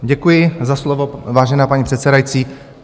Děkuji za slovo, vážená paní předsedající.